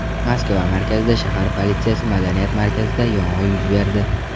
Moskva markazida shahar politsiyasi madaniyat markazida yong‘in yuz berdi.